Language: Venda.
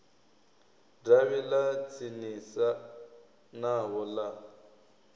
davhi ḽa tsinisa navho ḽa